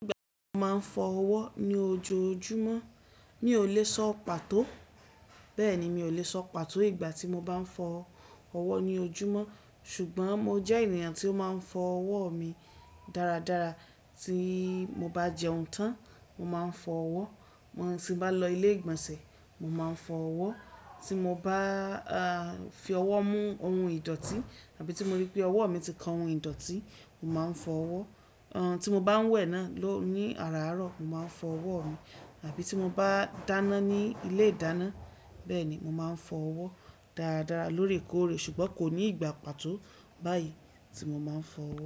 Ìgbà tí mo máa ń fọ ọwọ́ ní ojoojúmọ́ mi ó lè sọ pàtó. Bẹ́ẹ̀ni, mi ò lè sọ pàtó ìgbà tí mo bá ń fọ ọwọ́ ní ojúmọ́ ṣùgbọ́n mo jẹ́ ènìyàn tí ó máa ń fọ ọwọ́ mi dáradára. Tí mo bá jẹun tán, mo máa ń fọ ọwọ́. Tí mo bá lọ ilé ìgbọ̀nsẹ̀, mo máa ń fọ ọwọ́. Tí mo bá fi ọwọ́ mú ohun ìdọ̀tí àbí tí mo rí pé ọwọ́ mi ti kan ohun ìdọ̀tí, mo máa ń fọ ọwọ́. Tí mo bá ń wẹ náà ní àràárọ̀, mo máa ń fọ ọwọ́ mi àbí tí mo bá dáná ní ilé ìdáná, bẹ́ẹ̀ ni mo máa ń fọ ọwọ́ dáradára lóòrèkóòrè ṣùgbọ́n kò ní ìgbà pàtó báyìí tí mo máa ń fọ ọwọ́.